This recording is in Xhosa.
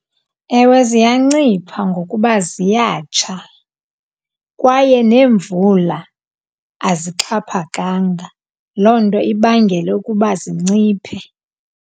Ewe, ziyancipha ngokuba ziyatsha kwaye neemvula azixhaphakanga. Loo nto ibangele ukuba zinciphe.